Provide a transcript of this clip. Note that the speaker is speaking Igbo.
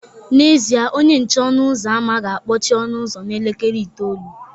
N'ezie, onye nche ọnụ ụzọ ámá ga-akpọchi ọnụ ụzọ n'elekere itoolu